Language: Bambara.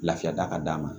Lafiya da ka d'a ma